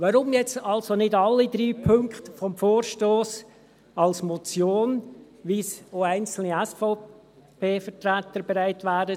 Weshalb nun also nicht alle drei Punkte des Vorstosses als Motion überweisen, wie es auch einzelne SVP-Vertreter zu tun bereit wären?